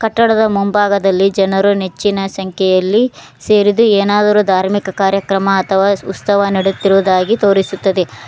ಕಟ್ಟಡದ ಮುಂಭಾಗದಲ್ಲಿ ಜನರು ನೆಚ್ಚಿನ ಸಂಖ್ಯೆಯಲ್ಲಿ ಸೇರಿದ್ದು ಏನಾದರೂ ಧಾರ್ಮಿಕ ಕಾರ್ಯಕ್ರಮ ಅಥವಾ ಉಸ್ತವ ನಡೆಯುತ್ತಿರುವುದಾಗಿ ತೋರಿಸುತ್ತದೆ.